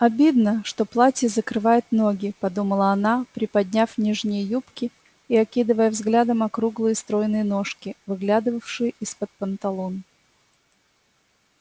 обидно что платье закрывает ноги подумала она приподняв нижние юбки и окидывая взглядом округлые стройные ножки выглядывавшие из-под панталон